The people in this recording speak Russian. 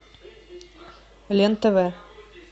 лен тв